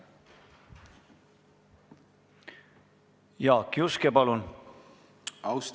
Jaak Juske, palun!